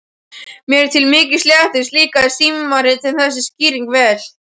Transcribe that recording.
Mér til mikils léttis líkaði símritaranum þessi skýring vel.